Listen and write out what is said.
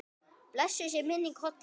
Blessuð sé minning Hollu.